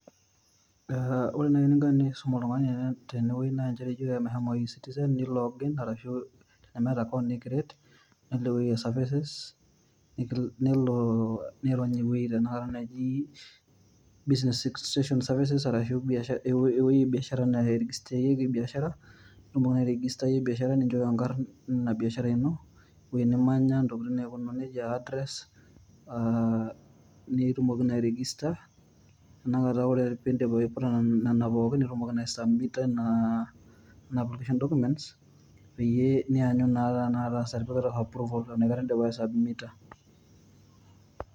Aa ore nai eninko tenisum oltungani tene weuei naa ijoki ake meshomo e citizen nelo log in ashu tenemeeta account create nelo ewuei e services nelo ,nirony ewueji taata naji business extension services arashu ewuei e biashara nairigisteyieki biashara .nitumoki nai airegistayie biashara ,ninchooyo inkarn Ina biashara ino , ewuei nimanya , ntokitin naijo nejia address aa nitumoki naa airigista